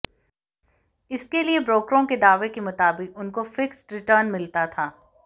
इसके लिए ब्रोकरों के दावे के मुताबिक उनको फिक्स्ड रिटर्न मिलता था